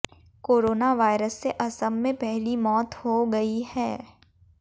corona virus से असम में पहली मौत हो गई है